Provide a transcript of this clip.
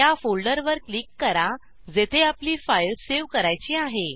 त्या फोल्डरवर क्लिक करा जेथे आपली फाइल सेव्ह करायची आहे